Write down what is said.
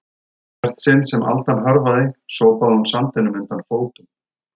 Í hvert sinn sem aldan hörfaði sópaði hún sandinum undan fótum